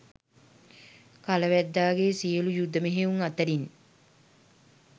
කල වැද්දාගේ සියලු යුධ මෙහෙයුම් අතරින්